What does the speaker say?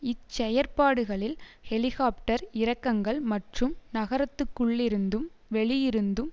இச்செயற்பாடுகளில் helicopter இறக்கங்கள் மற்றும் நகரத்திற்குள்ளிருந்தும் வெளியிருந்தும்